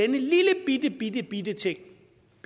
lillebittebittebitte ting